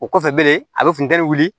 O kɔfɛ bilen a bɛ funu wuli